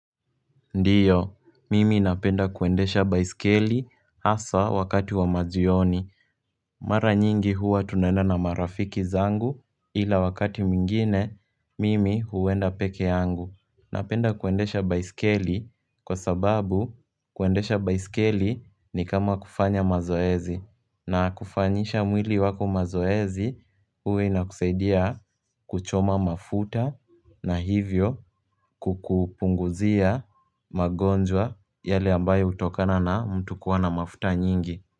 Ndiyo, mimi napenda kuendesha baisikeli asa wakati wa majioni Mara nyingi huwa tunaenda na marafiki zangu ila wakati mingine mimi huwenda peke yangu Napenda kuendesha baisikeli kwa sababu kuendesha baisikeli ni kama kufanya mazoezi na kufanyisha mwili wako mazoezi uwa inakusaidia kuchoma mafuta na hivyo kukupunguzia magonjwa yale ambayo utokana na mtu kuwa na mafuta nyingi.